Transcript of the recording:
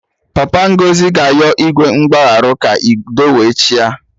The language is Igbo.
Papa Ngozi ga-ayọ Igwe mgbagharụ ka udo we chịa